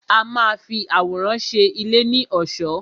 A má a fi àwòrán ṣe ilé ní ọ̀ṣọ́.